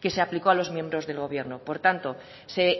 que se aplicó a los miembros del gobierno por tanto se